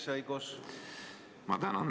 Ma tänan!